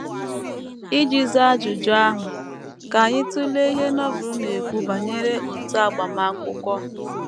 Iji zaa ajụjụ ahụ, ka anyị tụlee ihe Novel na - ekwu banyere otu agbamakwụkwọ.